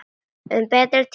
Um betri tíma.